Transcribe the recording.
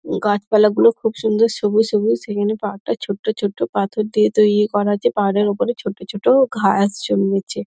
গাছপালাগুলো খুব সুন্দর সবুজ সবুজ এখানে পাহাড়টা ছোট্ট ছোট্ট পাথর দিয়ে তৈরী করা হয়েছে পাহাড়ের ওপরে ছোট ছোট ঘাস জন্মেছে |